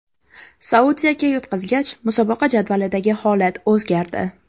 Saudiyaga yutqazgach, musobaqa jadvalidagi holat o‘zgardi.